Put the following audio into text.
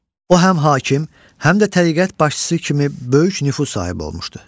O həm hakim, həm də təriqət başçısı kimi böyük nüfuz sahibi olmuşdu.